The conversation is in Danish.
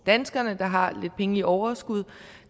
danskere der har lidt penge i overskud